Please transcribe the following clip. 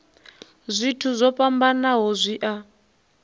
zwithu zwo fhambanaho zwi a